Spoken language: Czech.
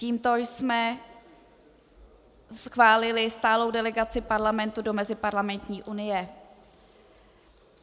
Tímto jsme schválili stálou delegaci Parlamentu do Meziparlamentní unie.